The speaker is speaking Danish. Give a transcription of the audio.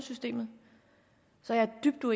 nu